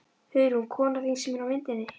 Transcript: Hugrún: Konan þín sem er á myndinni?